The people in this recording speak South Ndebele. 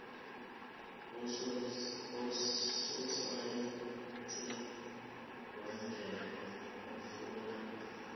usosayensi wemvelo ofuna